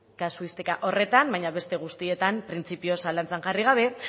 kasuistika horretan baina beste guztietan printzipioz zalantzan jarri gabe